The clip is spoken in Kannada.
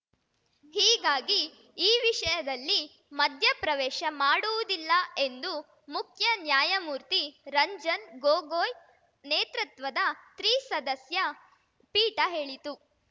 ಹೀಗಾಗಿ ಈ ವಿಷಯದಲ್ಲಿ ಮಧ್ಯಪ್ರವೇಶ ಮಾಡುವುದಿಲ್ಲ ಎಂದು ಮುಖ್ಯ ನ್ಯಾಯಮೂರ್ತಿ ರಂಜನ್‌ ಗೊಗೊಯ್‌ ನೇತೃತ್ವದ ತ್ರಿಸದಸ್ಯ ಪೀಠ ಹೇಳಿತು